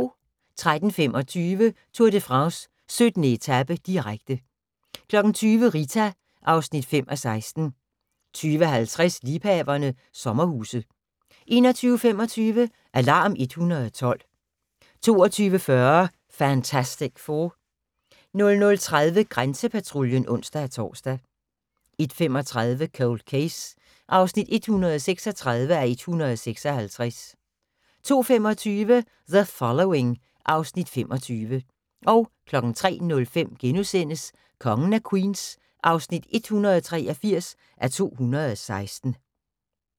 13:25: Tour de France: 17. etape, direkte 20:00: Rita (5:16) 20:50: Liebhaverne – sommerhuse 21:25: Alarm 112 22:40: Fantastic Four 00:30: Grænsepatruljen (ons-tor) 01:35: Cold Case (136:156) 02:25: The Following (Afs. 25) 03:05: Kongen af Queens (183:216)*